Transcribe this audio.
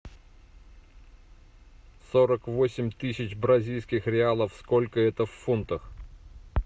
сорок восемь тысяч бразильских реалов сколько это в фунтах